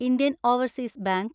Indian overseas bank